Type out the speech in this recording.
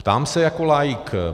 Ptám se jako laik.